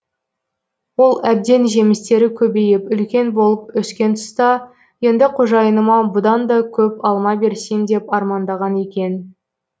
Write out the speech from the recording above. ол әбден жемістері көбейіп үлкен болып өскен тұста енді қожайыныма бұдан да көп алма берсем деп армандаған екен